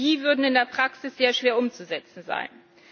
Die würden in der Praxis sehr schwer umzusetzen sein.